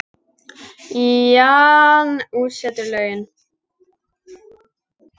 Jan útsetur lögin.